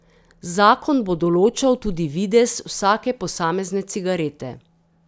Zakon bo določal tudi videz vsake posamezne cigarete.